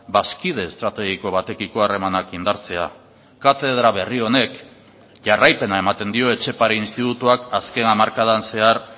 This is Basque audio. bazkide estrategiko batekiko harremanak indartzea katedra berri honek jarraipena ematen dio etxepare institutuak azken hamarkadan zehar